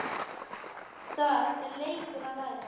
Það er leikur að læra